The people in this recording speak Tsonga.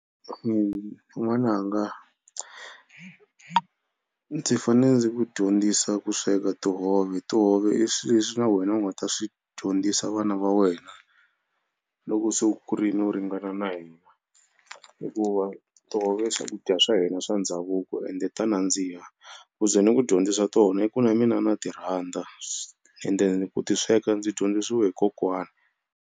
N'wananga ndzi fanele ndzi ku dyondzisa ku sweka tihove. Tihove i swi leswi na wena u nga ta swi dyondzisa vana va wena loko se u kurini u ringana na hina hikuva tihove i swakudya swa hina swa ndhavuko ende ta nandziha ku ze ni ku dyondzisa tona i ku na mina na ti rhandza ende ku ti sweka ndzi dyondzisiwe hi kokwana.